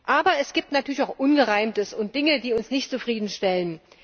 Aber es gibt natürlich auch Ungereimtes und Dinge, die uns nicht zufriedenstellen.